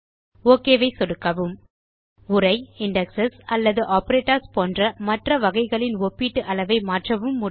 okay மீது சொடுக்கவும் உரை இண்டெக்ஸ் அல்லது ஆப்பரேட்டர்ஸ் போன்ற மற்ற வகைகளின் ஒப்பீட்டு அளவை மாற்றவும் முடியும்